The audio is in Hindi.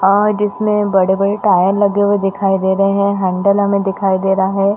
और इसमें बड़े - बड़े टायर लगे हुए दिखाई दे रहे है हेडल हमें दिखाई दे रहा है।